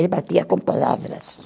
Ele batia com palavras.